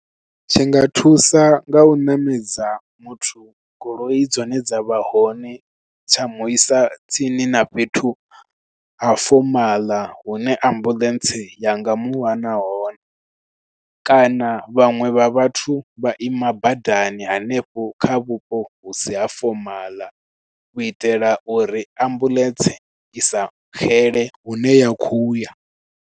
Tshi nga thusa nga u ṋamedza muthu goloi dzone dza vha hone, tsha muisa tsini na fhethu a fomaḽa hune ambuḽentse yanga muwana hone. Kana vhaṅwe vha vhathu vha ima badani hanefho kha vhupo hu si ha fomaḽa, u itela uri ambuḽentse i sa xele hune ya khou ya.